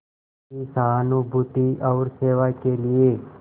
की सहानुभूति और सेवा के लिए